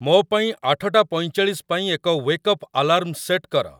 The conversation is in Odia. ମୋ ପାଇଁ ଆଠଟା ପଇଁଚାଳିଶ ପାଇଁ ଏକ ୱେକଅପ୍ ଆଲାର୍ମ ସେଟ୍ କର